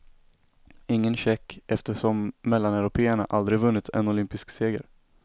Ingen tjeck, eftersom mellaneuropéerna aldrig vunnit en olympisk seger.